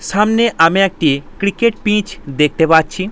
সামনে আমি একটি ক্রিকেট পিচ দেখতে পাচ্ছি।